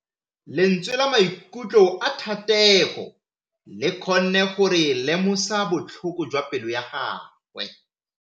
Lentswe la maikutlo a Thategô le kgonne gore re lemosa botlhoko jwa pelô ya gagwe.